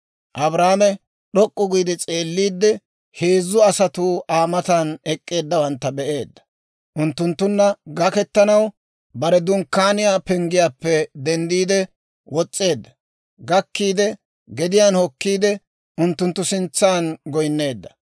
Abrahaame d'ok'k'u giide s'eelliide heezzu asatuu Aa matan ek'k'eeddawantta be'eedda; unttunttunna gaketanaw bare dunkkaaniyaa penggiyaappe denddi wos's'eedda; gakkiide, gediyaan hokkiide, unttunttu sintsan goyneedda.